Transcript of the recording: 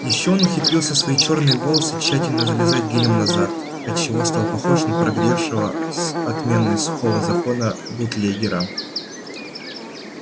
ещё он ухитрился свои чёрные волосы тщательно зализать гелем назад от чего стал похож на прогревшего с отменой сухого закона бутлегера